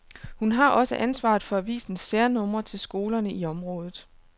Hun har også ansvaret for avisens særnumre til skolerne i området.